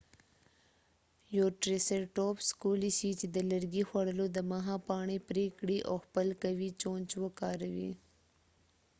یو ټریسرټوپس کولی شي د لرګي خوړلو دمخه پاڼري پري کړي او خپل قوي چونچ وکاروي